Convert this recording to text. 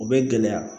O bɛ gɛlɛya